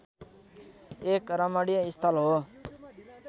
एक रमणीय स्थल हो